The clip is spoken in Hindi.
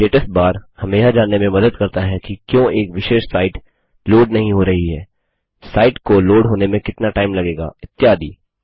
स्टेटस बार हमें यह जानने में मदद करता है कि क्यों एक विशेष साइट लोड नहीं हो रही है साइट को लोड होने में कितना टाइम लगेगा इत्यादि